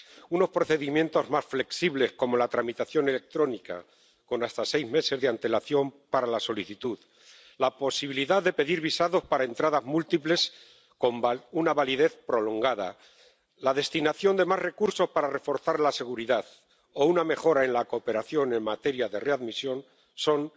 Unos procedimientos más flexibles, como la tramitación electrónica, con hasta seis meses de antelación para la solicitud, la posibilidad de pedir visados para entradas múltiples con una validez prolongada, la destinación de más recursos para reforzar la seguridad o una mejora en la cooperación en materia de readmisión son